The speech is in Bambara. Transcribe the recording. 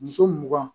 Muso mugan